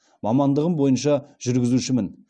мамандығым бойынша жүргізушімін